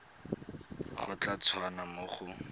go tla tswa mo go